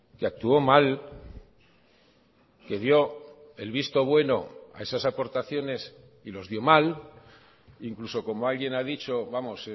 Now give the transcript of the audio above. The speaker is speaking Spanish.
que actuó mal que dio el visto bueno a esas aportaciones y los dio mal incluso como alguien ha dicho vamos